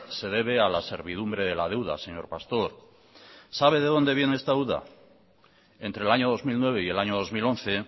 se debe a la servidumbre de la deuda señor pastor sabe de dónde viene esta deuda entre el año dos mil nueve y el año dos mil once